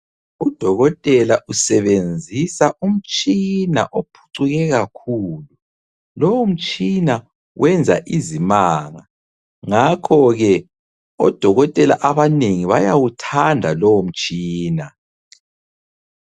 Udokotela usebenzisa umtshina ophucuke kakhulu. Lowomtshina wenza izimanga, ngakhoke odokotela abanengi bayawuthanda lowomtshina.